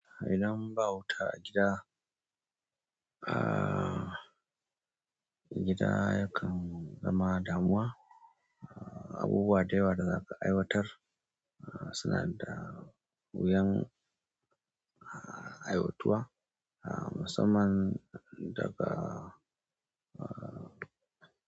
Idan ba wuta a gida, a gida yakan zama damuwa. Abubuwa da yawa da za ka aiwatar suna da wuyan aiwatuwa musamman daga, a.